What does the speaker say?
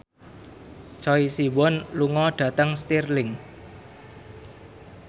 Choi Siwon lunga dhateng Stirling